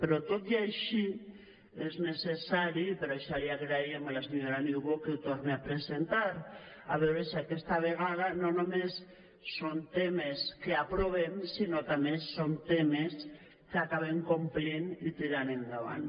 però tot i així és necessari i per això li agraíem a la senyora niubó que ho torni a presentar a veure si aquesta vegada no només són temes que aprovem sinó també son temes que acabem complint i tirant endavant